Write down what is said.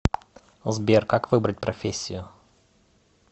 сбер как выбрать профессию